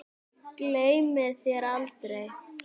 Gleymi þér aldrei.